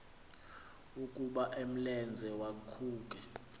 ukuba umlenze waphuke